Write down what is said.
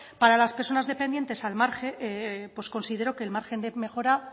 para las personas dependientes considero que el margen de mejora